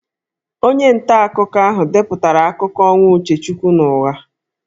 Onye ntaakụkọ ahụ depụtara akụkọ ọnwụ Uchechukwu n'ụgha